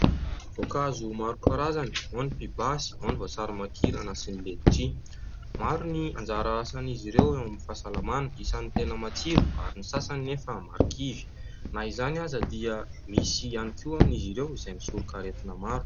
Voankazo maro karazany : ao ny pibasy, ao ny voasary makirana sy ny letisia. Maro ny anjara asan'izy ireo eo amin'ny fahasalamana. Isan'ny tena matsiro ary ny sasany nefa marikivy. Na izany aza dia misy ihany koa amin'izy ireo izay misoroka aretina maro.